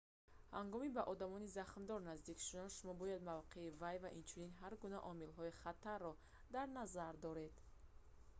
ҳангоми ба одами захмдор наздик шудан шумо бояд мавқеи вай ва инчунин ҳар гуна омилҳои хатарро дар назар доред